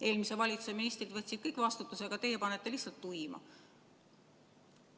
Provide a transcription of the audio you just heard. Eelmise valitsuse ministrid võtsid kõik vastutuse, aga teie panete lihtsalt tuima.